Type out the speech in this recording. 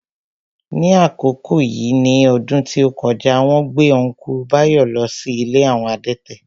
Ní àkókò yìí ní ọdún tí ó kọjá, wón gbé Ọ́nkùlù Báyọ̀ lọ sí ilé àwọn adẹ́tẹ̀